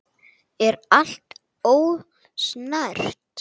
Er allt ósnert?